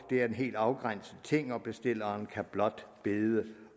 det er en helt afgrænset ting og bestilleren kan blot bede